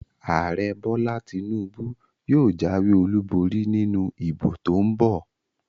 Ààrẹ Bọ́lá Tinúbú yóò jáwé olùborí nínú ìbò tó n bọ̀